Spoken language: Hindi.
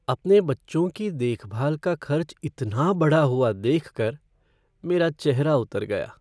अपने बच्चों की देखभाल का खर्च इतना बढ़ा हुआ देख कर मेरा चेहरा उतर गया।